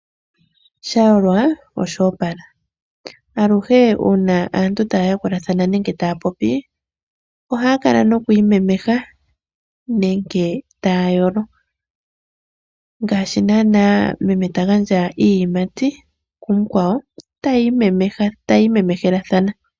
Sha yolwa oshoopala, aluhe uuna aantu taa yakulathana nenge taa popi ohaa kala nokwiimemeha nenge taa yolo, ngaashi nana meme ta gandja iiyimati kumukwa wo, tayii memehelathana.